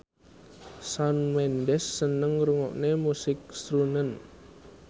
Shawn Mendes seneng ngrungokne musik srunen